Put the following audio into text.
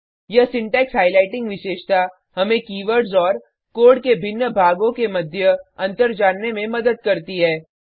यह syntax highlighting विशेषता हमें कीवर्डस और कोड के भिन्न भागों के मध्य अंतर जानने में मदद करती है